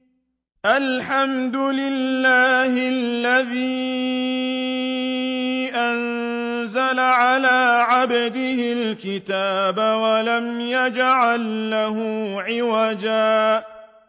الْحَمْدُ لِلَّهِ الَّذِي أَنزَلَ عَلَىٰ عَبْدِهِ الْكِتَابَ وَلَمْ يَجْعَل لَّهُ عِوَجًا ۜ